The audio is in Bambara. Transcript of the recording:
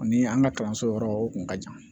Ani an ka kalanso yɔrɔ o kun ka jan